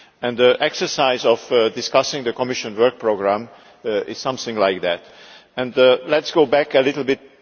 The exercise of discussing the Commission's work programme is something like that. Let us go back a little bit.